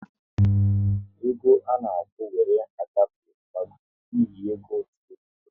E go à na-akwụ wéré agafe gbagọrọ n'ihi ego ụtụ rịgooronu